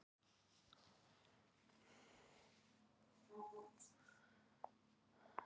Að síðustu ákvað hann að loka versluninni, flytjast til Seyðisfjarðar og reyna fyrir sér þar.